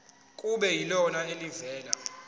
kube yilona elivela